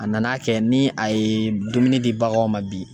A nana kɛ ni a ye dumuni di baganw ma bi